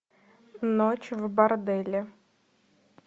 ночь в борделе